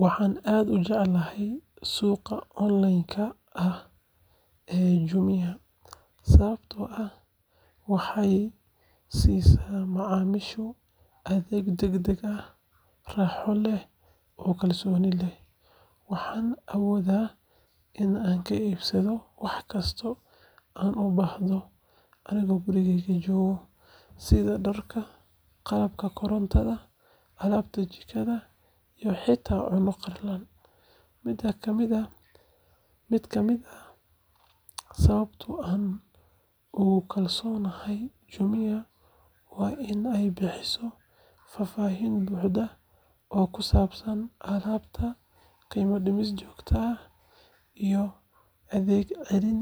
Waxaan aad u jecelahay suuqyada online ka ah ee Jumia sababtoo ah waxay siisa macaamiisha adeeg degdeg ah, raaxo leh, oo kalsooni leh. Waxaan awoodayaa in aan ka iibsado wax kasta oo aan u baahdo anigoo gurigeyga jooga, sida dharka, qalabka korontada, alaabta jikada, iyo xitaa cunto qalalan. Mid ka mid ah sababaha aan ugu kalsoonahay Jumia waa in ay bixiso faahfaahin buuxda oo ku saabsan alaabta, qiimo-dhimis joogto ah, iyo adeeg celin